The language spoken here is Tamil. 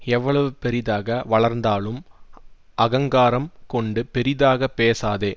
எவ்வளவு பெரிதாக வளர்ந்தாலும் அகங்காரம் கொண்டு பெரிதாக பேசாதே